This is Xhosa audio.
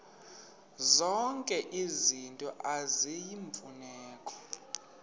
zonke izinto eziyimfuneko